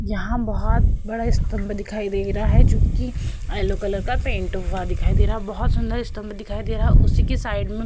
यहाँ बोहोत बड़ा स्तम्भ दिखाई दे रहा है जो कि येलो कलर का पैंट हुआ दिखाई दे रहा है। बोहोत सुन्दर स्तम्भ दिखाई दे रहा है उसी की साइड में --